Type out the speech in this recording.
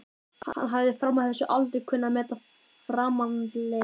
Hann hafði fram að þessu aldrei kunnað að meta framandleika